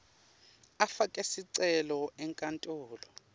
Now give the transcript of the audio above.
afake sicelo enkantolo